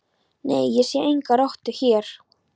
Nei, ég sé enga rottu hér